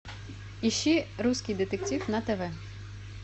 ищи русский детектив на тв